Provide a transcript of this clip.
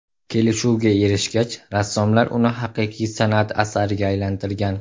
Kelishuvga erishgach, rassomlar uni haqiqiy san’at asariga aylantirgan.